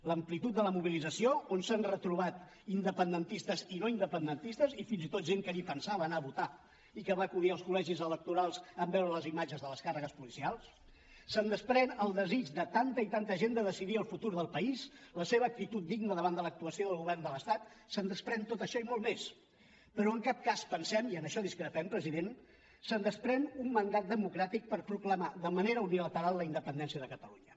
l’amplitud de la mobilització on s’han retrobat independentistes i no independentistes i fins i tot gent que ni pensava anar a votar i que va acudir als col·legis electorals en veure les imatges de les càrregues policials se’n desprèn el desig de tanta i tanta gent de decidir el futur del país la seva actitud digna davant de l’actuació del govern de l’estat se’n desprèn tot això i molt més però en cap cas pensem i en això discrepem president se’n desprèn un mandat democràtic per proclamar de manera unilateral la independència de catalunya